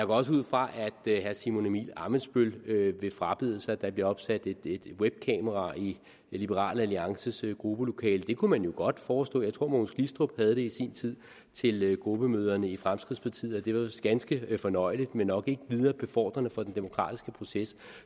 også ud fra at herre simon emil ammitzbøll vil frabede sig at der bliver opsat et webkamera i liberal alliances gruppelokale det kunne man jo godt foreslå jeg tror at mogens glistrup havde det i sin tid til gruppemøderne i fremskridtspartiet og det var vist ganske fornøjeligt men nok ikke videre befordrende for den demokratiske proces